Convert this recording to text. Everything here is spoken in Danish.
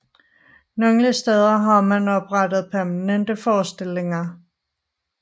Nogle steder har man oprettet permanente forestillinger